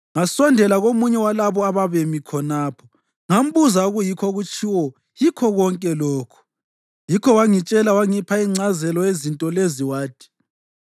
Ngasondela komunye walabo ababemi khonapho ngambuza okuyikho okutshiwo yikho konke lokhu. Yikho wangitshela wangipha ingcazelo yezinto lezi, wathi: